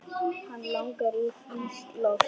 Hana langar í frískt loft.